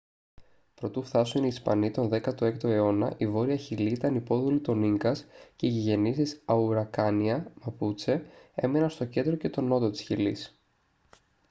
προτού φθάσουν οι ισπανοί τον 16 αιώνα η βόρεια χιλή ήταν υπόδουλη των ίνκας και οι γηγενείς της auracania μαπούτσε έμεναν στο κέντρο και τον νότο της χιλής